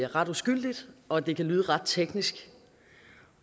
ret uskyldigt og det kan lyde ret teknisk